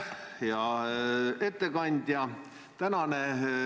Hea ettekandja!